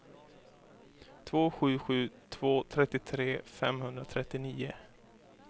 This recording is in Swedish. två sju sju två trettiotre femhundratrettionio